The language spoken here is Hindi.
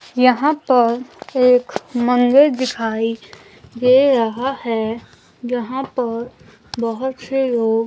यहां पर एक मंजर दिखाई दे रहा है यहां पर बहोत से लोग--